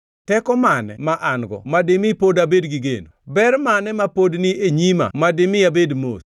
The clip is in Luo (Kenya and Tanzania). “Teko mane ma an-go ma dimi pod abed gi geno? Ber mane ma pod ni e nyima madimi abed mos?